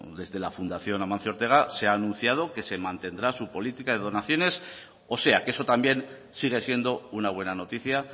desde la fundación amancio ortega se ha anunciado que se mantendrá su política de donaciones o sea que eso también sigue siendo una buena noticia